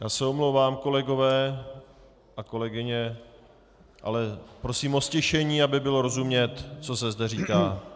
Já se omlouvám, kolegové a kolegyně, ale prosím o ztišení, aby bylo rozumět, co se zde říká.